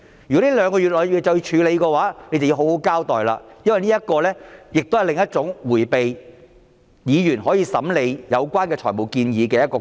如果這兩個月內便須處理，政府便要好好交代，因為這是另一種迴避議員審理有關財務建議的方法。